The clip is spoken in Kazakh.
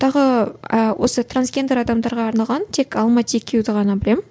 тағы осы трансгендер адамдарға арналған тек ғана білемін